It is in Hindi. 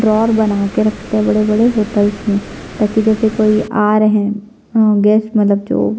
ड्ड्रॉर बना के रखते है बड़े -बड़े होटलस में ताकि जैसे कोई आ रहे है अ गेस्ट मतलब जो --